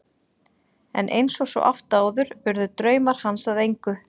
En eins og svo oft áður urðu draumar hans að engu.